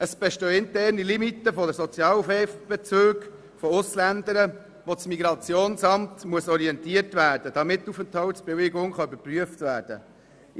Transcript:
Es bestehen interne Limiten für den Sozialhilfebezug von Ausländerinnen und Ausländern, gemäss denen das MIP orientiert werden muss, damit die Aufenthaltsbewilligung geprüft werden kann.